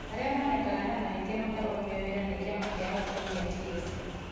Arĩa monekana na mahĩtia makarũgamio wĩra nĩ Kĩama gĩa arutani gĩa TSC